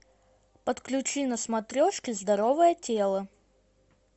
подключи на смотрешке здоровое тело